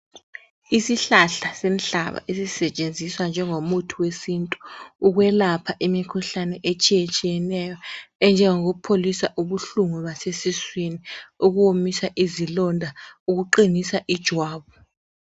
Isihlahla senhlaba esisetshenziswa njengo muthi wesintu, ukwelapha imikhuhlane etshiye tshiyeneyo enjengokupholisa ubuhlungu basesiswini, ukuwomisa izilonda, ukuqinisa ijwabu.